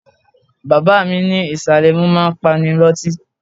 Bàbá mi ní ìsàlẹ̀ ẹmu máa ń pani lọ́tí.